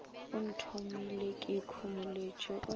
o nthomile ke ikhomoletše o